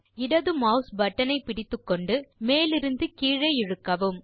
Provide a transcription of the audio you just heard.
இடது mouse button ஐ பிடித்துக்கொண்டு மேலிருந்து கீழே இழுக்கவும்